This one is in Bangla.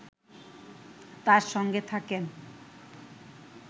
তাঁর সঙ্গে থাকেন